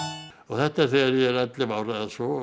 þetta er þegar ég er ellefu ára eða svo